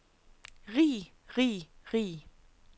rig rig rig